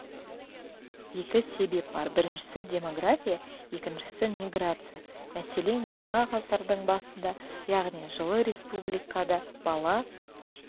екі себеп бар біріншісі демография екіншісі миграция мәселен жаңа ғасырдың басында яғни жылы республикада бала